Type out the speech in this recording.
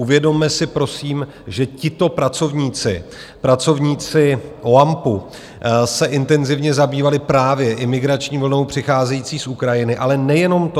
Uvědomme si prosím, že tito pracovníci, pracovníci OAMPu, se intenzivně zabývali právě imigrační vlnou přicházející z Ukrajiny, ale nejenom to.